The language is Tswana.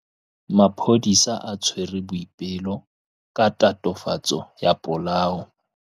Maphodisa a tshwere Boipelo ka tatofatsô ya polaô.